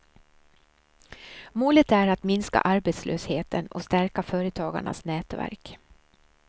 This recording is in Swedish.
Målet är att minska arbetslösheten och stärka företagarnas nätverk.